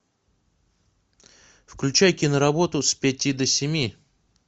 включай киноработу с пяти до семи